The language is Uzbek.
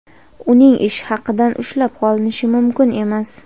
uning ish haqidan ushlab qolinishi mumkin emas.